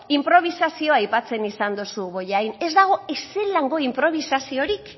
inprobisazio aipatzen izan duzu bollain ez dago ez zelango inprobisaziorik